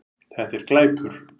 Þetta er glæpur